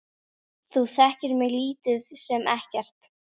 Þú þekkir mig lítið sem ekkert.